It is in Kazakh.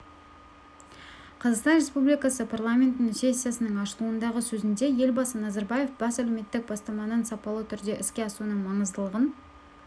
қазақстан республикасы парламентінің сессиясының ашылуындағы сөзінде елбасы назарбаев бес әлуметтік бастаманың сапалы түрде іске асуының маңыздылығын